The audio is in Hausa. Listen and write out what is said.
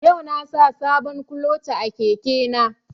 Yau na sa sabon kuloce a keke na